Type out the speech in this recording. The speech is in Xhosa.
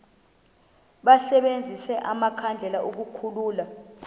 basebenzise amakhandlela ukukhulula